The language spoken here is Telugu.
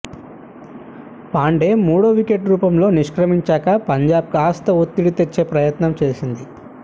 పాండే మూడో వికెట్ రూపంలో నిష్క్రమించాక పంజాబ్ కాస్త ఒత్తిడి తెచ్చే ప్రయత్నం చేసింది